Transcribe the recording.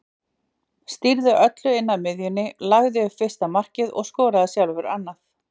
Stýrði öllu á miðjunni, lagði upp fyrsta markið og skoraði sjálfur annað.